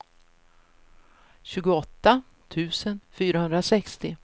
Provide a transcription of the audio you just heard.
tjugoåtta tusen fyrahundrasextio